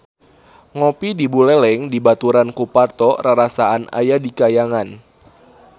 Ngopi di Buleleng dibaturan ku Parto rarasaan aya di kahyangan